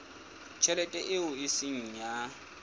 tjhelete eo e seng ya